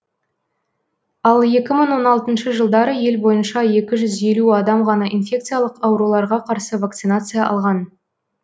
ал екі мың он алтыншы жылдары ел бойынша екі жүз елу адам ғана инфекциялық ауруларға қарсы вакцинация алған